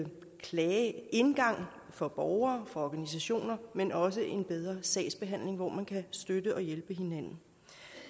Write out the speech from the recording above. klageindgang for borgere og organisationer men også en bedre sagsbehandling hvor man kan støtte og hjælpe hinanden